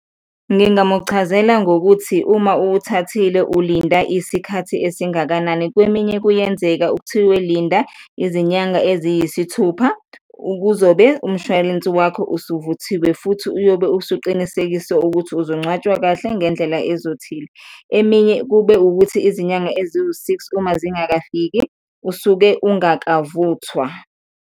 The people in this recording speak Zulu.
Ngingamuchazela ngokuthi uma uwuthathile, ulinda isikhathi esingakanani. Kweminye kuyenzeka kuthiwe linda izinyanga eziyisithupha, kuzobe umshwalense wakho usuvuthiwe futhi uyobe usuqinisekisa ukuthi uzongcwatshwa kahle ngendlela ezothile. Eminye kube ukuthi izinyanga eziwu-six uma zingakafiki, usuke ungakavuthwa.